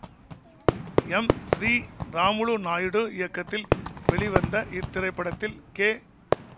M Sri Ramulu Naidu இயக்கத்தில் வெளிவந்த இத்திரைப்படத்தில் கே